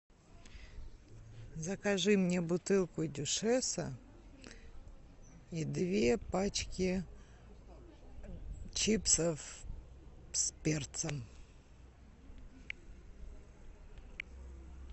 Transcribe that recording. закажи мне бутылку дюшеса и две пачки чипсов с перцем